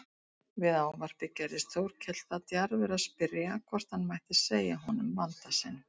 Við ávarpið gerðist Þórkell það djarfur að spyrja hvort hann mætti segja honum vanda sinn.